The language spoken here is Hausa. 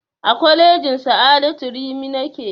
A kwalejin sa'adatu rimi nake